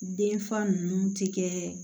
Den fa ninnu ti kɛ